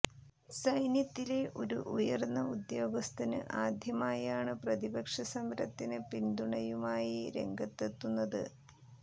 സൈന്യത്തിലെ ഒരു ഉയര്ന്ന ഉദ്യോഗസ്ഥന് ആദ്യമായാണ് പ്രതിപക്ഷ സമരത്തിന് പിന്തുണയുമായി രംഗത്തെത്തുന്നത്